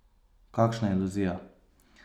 Kakšna iluzija!